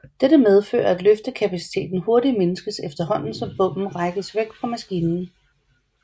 Dette medfører at løftekapaciteten hurtigt mindskes efterhånden som bommen rækkes væk fra maskinen